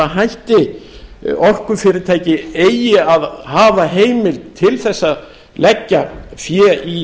hætti orkufyrirtæki eigi að hafa heimild til þess að leggja fé í